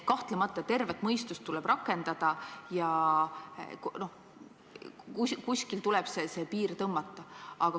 Kahtlemata tervet mõistust tuleb rakendada ja kuskil tuleb see piir tõmmata.